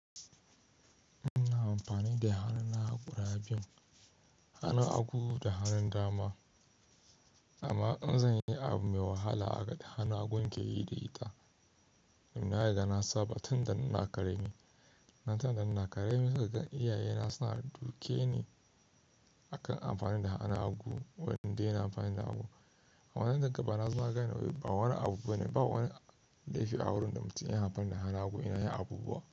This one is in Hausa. Ina amfani da hannuna guda biyu, hannun hagu da hannun dama. Amma in zan yi abu mai wahala a da hannun hagu ke yi da ita. Dun na ragi na saba tun da inna karami. Na tuna san da ina ƙarami seka gan iyayena suna duke ni akan amfani da hannun hagu wanda yana amfani da hagu. A wannan dangantaka na suna gane wai ba wani abubuwa ne, ba wani laifi a wurin da mutum yana amfani da hannun hagu yana yin abubuwa.